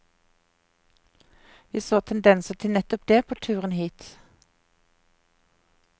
Vi så tendenser til nettopp det på turen hit.